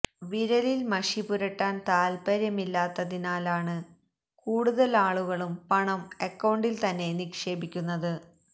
വിരലില് മഷി പുരട്ടാന് താത്പര്യമില്ലാത്തതിനാലാണ് കൂടുതല് ആളുകളും പണം അക്കൌണ്ടില് തന്നെ നിക്ഷേപിക്കുന്നത്